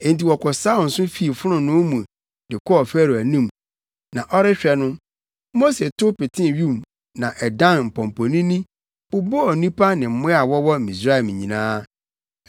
Enti wɔkɔsaw nso fii fononoo mu de kɔɔ Farao anim, na ɔrehwɛ no, Mose tow petee wim na ɛdan mpɔmpɔnini bobɔɔ nnipa ne mmoa a wɔwɔ Misraim nyinaa.